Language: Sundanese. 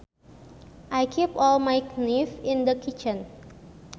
I keep all my knives in the kitchen